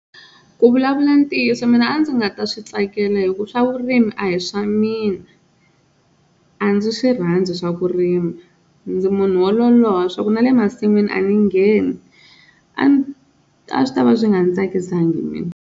Ku vulavula ntiyiso mina a ndzi nga ta swi tsakela hi ku swa vurimi a hi swa mina a ndzi swi rhandzui swa ku rima ndzi munhu wo loloha swa ku na le masin'wini a ni ngheni, a swi tava swi nga ndzi tsakisangi mina.